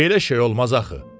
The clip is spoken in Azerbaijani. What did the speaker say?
Belə şey olmaz axı.